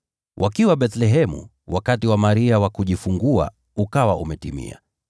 Wakiwa Bethlehemu, wakati wa Maria wa kujifungua ukawa umetimia,